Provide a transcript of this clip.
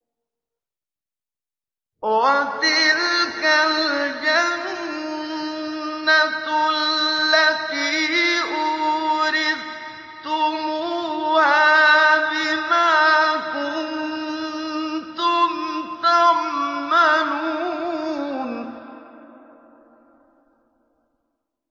وَتِلْكَ الْجَنَّةُ الَّتِي أُورِثْتُمُوهَا بِمَا كُنتُمْ تَعْمَلُونَ